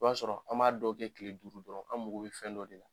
I b'a sɔrɔ an b'a dɔw kɛ kile duuru dɔrɔn an mako bɛ fɛn dɔ de la.